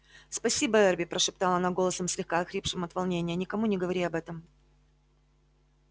спасибо эрби прошептала она голосом слегка охрипшим от волнения никому не говори об этом